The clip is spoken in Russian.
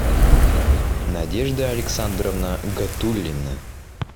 надежда александровна гатулина